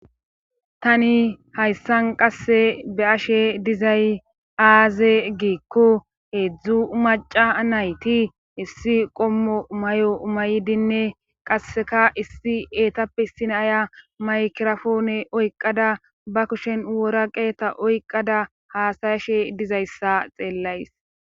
tani hayssan qasse be ashe dizay aaze giikko heedzdzu maca nayti issi qommo may7o maydinne qasseka issi eetappe sinaya maykirafoone oyqada ba kushen wora qeeta oyqada haasayashe dizayssa xeellays